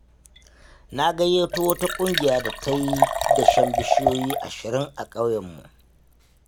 Na gayyato wata ƙungiya da za ta yi dashen bishiyoyi ashirin a ƙauyenmu.